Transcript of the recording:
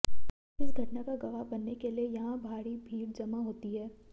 इस घटना का गवाह बनने के लिए यहां भारी भीड़ जमा होती है